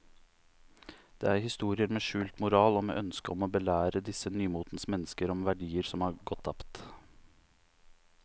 Det er historier med skjult moral og med ønske om å belære disse nymotens mennesker om verdier som er gått tapt.